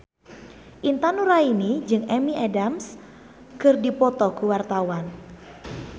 Intan Nuraini jeung Amy Adams keur dipoto ku wartawan